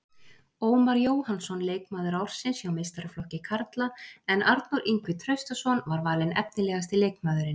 Ómar Jóhannsson leikmaður ársins hjá meistaraflokki karla en Arnór Ingvi Traustason var valinn efnilegasti leikmaðurinn.